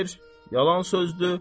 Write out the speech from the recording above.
Xeyr, yalan sözdür.